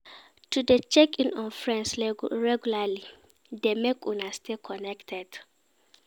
To de check in on friends regularly de make una stay connected